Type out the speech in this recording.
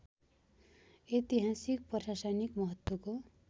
एतिहासिक प्रशासनिक महत्त्वको